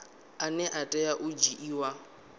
ane a tea u dzhiiwa